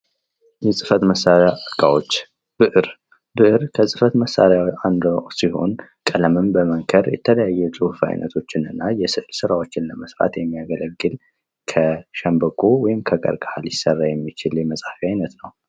የጽህፈት መሳሪያ እቃዎች ብዕር ከጽህፈት መሳሪያ አንዱ ሲሆን ቀለምን በመንከር የተለያዩ በጽሑፍ አይነቶችን እና የስዕል ራዎችን ለመስራት የሚያገለግል ከሸንበቆ ወይም ከቀርቀሃ ሊሰራ የሚችል የመጽሐፊያ አይነት ነው።